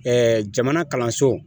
jamana kalanso